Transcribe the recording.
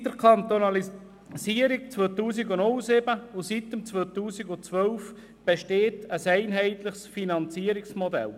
Seit ihrer Kantonalisierung in den Jahren 2007 und 2012 besteht ein einheitliches Finanzierungsmodell.